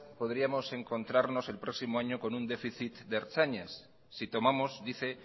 podríamos encontrarnos el próximo año con un déficit de ertzainas si tomamos dice